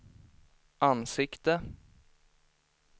ansikte